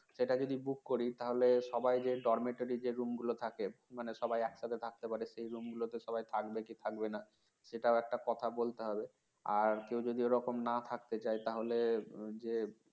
সেটা যদি book করি তাহলে সবাই যে dormetory room গুলো থাকে মানে সবাই একসাথে থাকতে পারে সেই room গুলোতে সবাই থাকবে কি থাকবে না সেটাও একটা কথা বলতে হবে আর কেউ যদি ওরকম না থাকতে চায় তাহলে যে